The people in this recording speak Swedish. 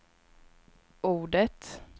ordet